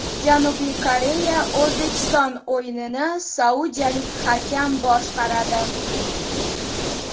Janubiy Koreya − O‘zbekiston o‘yinini saudiyalik hakam boshqaradi.